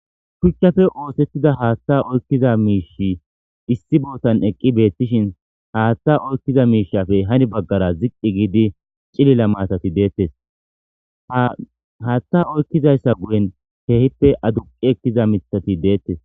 shuchchafe oosettida haaththa oykkiza miish issi bootan eqqi beettishin haaththa oykkiza miishafey hani baggara ziqqi giidi cilila maatati deettes haaththa oykkizayssa guyen keehippe aduqi ekkiza mithati deettes